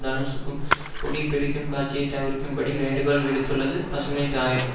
தனுஷூக்கும் புகைபிடிக்கும் காட்சியை தவிர்க்கும்படி வேண்டுகோள் விடுத்துள்ளது பசுமைத்தாயகம்